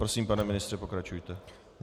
Prosím, pane ministře, pokračujte.